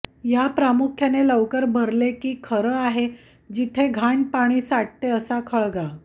या प्रामुख्याने लवकर भरले की खरं आहे जेथे घाणपाणी साठते असा खळगा